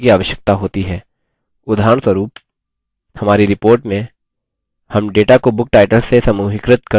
उदाहरणस्वरूप हमारी report में हम data को book titles से समूहीकृत कर सकते हैं